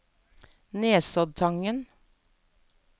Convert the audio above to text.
Nesoddtangen